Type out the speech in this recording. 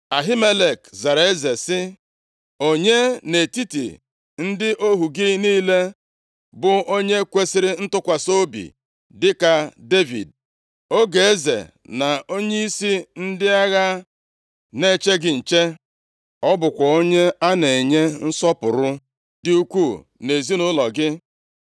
Ahimelek zara eze sị, “Onye nʼetiti ndị ohu gị niile bụ onye kwesiri ntụkwasị obi dịka Devid, ọgọ eze, na onyeisi ndị agha na-eche gị nche; ọ bụkwa onye a na-enye nsọpụrụ dị ukwuu nʼezinaụlọ gị?